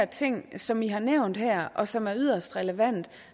ting som i har nævnt her og som er yderst relevante